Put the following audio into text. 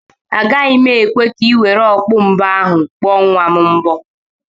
Agaghị m ekwe ka i were okpu mgbo ahụ kpuo nwa m mbo.